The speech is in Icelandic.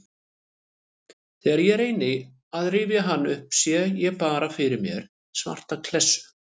Þegar ég reyni að rifja hann upp sé ég bara fyrir mér svarta klessu.